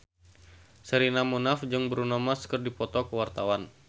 Sherina Munaf jeung Bruno Mars keur dipoto ku wartawan